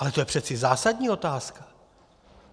Ale to je přece zásadní otázka.